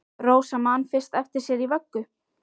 Rósa man fyrst eftir sér í vöggu!